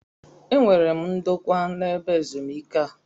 E nwere m ndokwa na-ebe ezumike a.